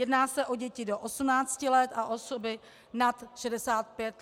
Jedná se o děti do 18 let a osoby nad 65 let věku.